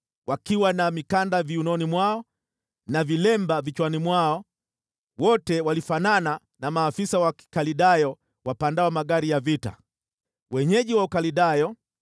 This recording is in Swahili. wakiwa na mikanda viunoni mwao na vilemba vichwani mwao, wote walifanana na maafisa wa Babeli wapandao magari ya vita, wenyeji wa Ukaldayo.